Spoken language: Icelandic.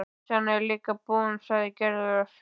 Pitsan er líka búin, sagði Gerður.